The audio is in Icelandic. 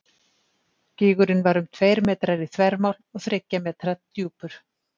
Gígurinn var um tveir metrar í þvermál og þriggja metra djúpur.